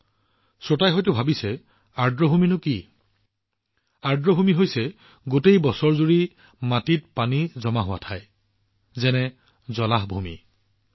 কিছুমান শ্ৰোতাই হয়তো ভাবি আছে যে আৰ্দ্ৰভূমিবোৰ কি আৰ্দ্ৰভূমিৰ স্থানৰ অৰ্থ হৈছে সেই ঠাইবোৰ যত গোটেই বছৰজুৰি পানী জলভূমিৰ ৰূপত জমা হৈ থাকে